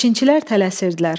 Biçinçilər tələsirdilər.